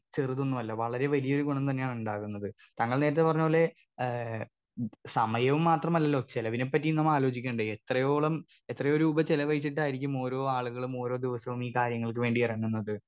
Speaker 2 ചെറുതൊന്നുമല്ല വളരെ വലിയൊരു ഗുണം തന്നെയാണ് ഇണ്ടാകുന്നത് താങ്കൾ നേരത്തെ പറഞ്ഞ പോലെ ഏ ഇത് സമയം മാത്രമല്ലല്ലോ ചിലവിനെപ്പറ്റിയും നമ്മളാലോചിക്കണ്ടേ എത്രയോളം എത്രയോ രൂപ ചിലവഴിച്ചിട്ടായിരിക്കും ഓരോ ആളുകളും ഓരോ ദിവസോം ഈ കാര്യങ്ങൾക്കു വേണ്ടി ഇറങ്ങുന്നത്.